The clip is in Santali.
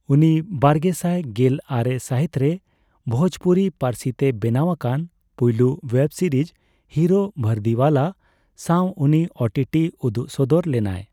ᱩᱱᱤ ᱵᱟᱨᱜᱮᱥᱟᱭ ᱜᱮᱞ ᱟᱨᱮ ᱥᱟᱦᱤᱛᱨᱮ ᱵᱷᱳᱡᱯᱩᱨᱤ ᱯᱟᱹᱨᱥᱤᱛᱮ ᱵᱮᱱᱟᱣ ᱟᱠᱟᱱ ᱯᱩᱭᱞᱩ ᱳᱭᱮᱵ ᱥᱤᱨᱤᱡ ᱦᱤᱨᱳ ᱵᱷᱟᱨᱫᱤᱣᱟᱞᱟ ᱥᱟᱣ ᱩᱱᱤ ᱳᱴᱤᱴᱤ ᱩᱫᱩᱜ ᱥᱚᱫᱚᱨ ᱞᱮᱱᱟᱭ᱾